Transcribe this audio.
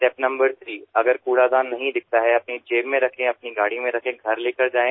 step number three अगर कूड़ादान नही दिखता है अपनी जेब में रखे या अपनी गाड़ी में रखे घर लेकर जाए